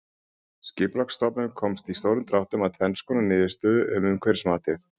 Skipulagsstofnun komst í stórum dráttum að tvenns konar niðurstöðu um umhverfismatið.